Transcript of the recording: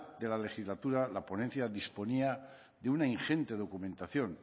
de la legislatura la ponencia disponía de una ingente documentación